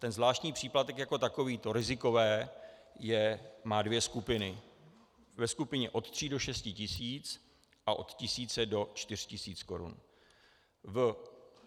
ten zvláštní příplatek jako takovýto - rizikové, má dvě skupiny, ve skupině od tří do šesti tisíc a od tisíce do čtyř tisíc korun.